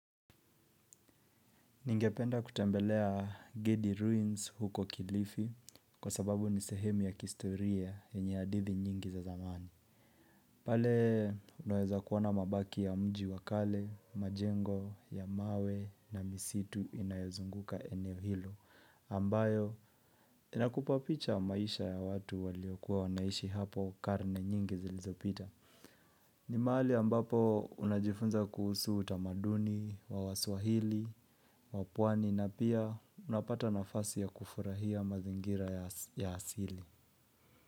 Ningependa kutembelea Gedi Ruins huko kilifi kwa sababu ni sehemu ya kihistoria yenye hadithi nyingi za zamani. Pale unaweza kuona mabaki ya mji wa kale, majengo, ya mawe na misitu inayozunguka eneo hilo. Ambayo inakupa picha ya maisha ya watu waliokuwa wanaishi hapo karne nyingi zilizopita. Ni mahali ambapo unajifunza kuhusu utamaduni, wa waswahili, wapwani na pia unapata nafasi ya kufurahia mazingira ya asili.